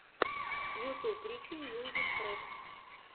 ютуб рики мьюзик трек